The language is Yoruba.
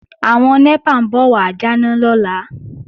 Àwọn NEPA ń bọ̀ wà jáná lọ́la